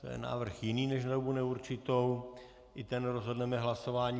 To je návrh jiný než na dobu neurčitou, i ten rozhodneme hlasováním.